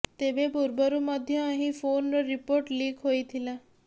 ତେବେ ପୂର୍ବରୁ ମଧ୍ୟ ଏହି ଫୋନର ରିପୋର୍ଟ ଲିକ ହୋଇଥିଲା